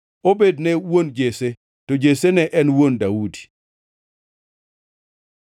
Obed ne en wuon Jesse, to Jesse ne en wuon Daudi.